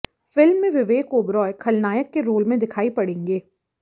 film में विवेक ओबरॉय खलनायक के रोल में दिखायी पड़ेगे